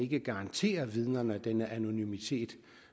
kan garantere vidnerne den anonymitet